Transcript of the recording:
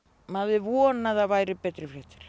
maður vonaði að það væru betri fréttir